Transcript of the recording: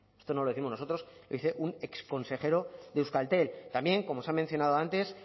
esto no lo décimos nosotros lo dice un exconsejero de euskaltel también como se ha mencionado antes